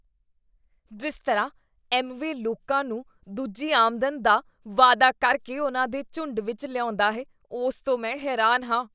ਜਿਸ ਤਰ੍ਹਾਂ 'ਐੱਮਵੇ' ਲੋਕਾਂ ਨੂੰ ਦੂਜੀ ਆਮਦਨ ਦਾ ਵਾਅਦਾ ਕਰਕੇ ਉਨ੍ਹਾਂ ਦੇ ਝੁੰਡ ਵਿੱਚ ਲਿਆਉਂਦਾ ਹੈ, ਉਸ ਤੋਂ ਮੈਂ ਹੈਰਾਨ ਹਾਂ।